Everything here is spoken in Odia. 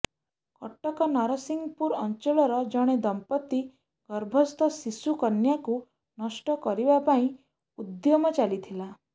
କଟକ ନରସିଂହପୁର ଅଂଚଳର ଜଣେ ଦମ୍ପତ୍ତି ଗର୍ଭସ୍ଥ ଶିଶୁକନ୍ୟାକୁ ନଷ୍ଟ କରିବା ପାଇଁ ଉଦ୍ୟମ ଚାଲିଥିଲା